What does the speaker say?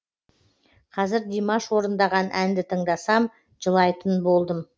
қазір димаш орындаған әнді тыңдасам жылайтын болдым